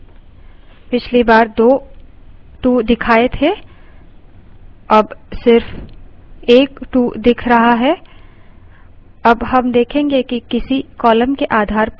पिछली बार दो 2 दिखाए थे और अब सिर्फ एक 2 दिख रहा है